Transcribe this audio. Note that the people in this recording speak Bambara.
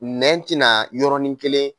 Nɛn tɛna yɔrɔnin kelen.